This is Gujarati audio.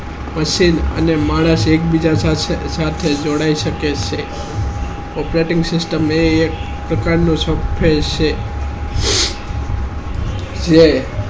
machine અને માણસ એક સરકે જોડાય શકે છે operating system હે એક પ્રકાર નું software છે બે